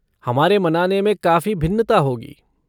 हमारे मनाने में काफ़ी भिन्नता होगी।